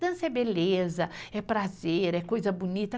Dança é beleza, é prazer, é coisa bonita.